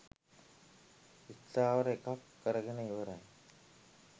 ස්ථාවර එකක් කරගෙන ඉවරයි.